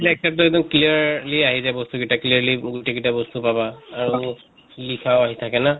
X ray ত এক্দম clearly আহি যায় বস্তু কেটা clearly গোটেইকেটা বস্তু পাবা লিখাও আহি থাকে না